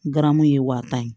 Garamu ye wa tan ye